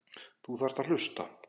Þú þarft að hlusta.